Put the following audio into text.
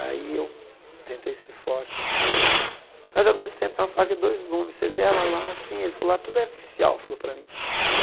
Aí eu tentei ser forte assim, mas ao mesmo tempo uma faca e dois gumes, você vê ela lá assim, ele falou lá, tudo é artificial, falou para mim.